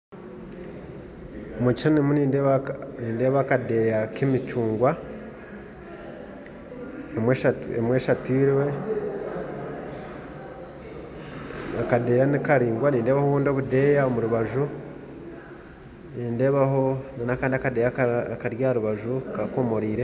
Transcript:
Omu kishushani ndimu nindeeba akadeeya k'emicungwa emwe eshatwirwe, akadeeya nikaringwa, nindeeba obundi obudeeya omu rubaju, ndeebaho n'akandi akadeeya omu rubaju kakomoriire.